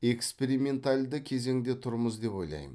эксперименталды кезеңде тұрмыз деп ойлаймын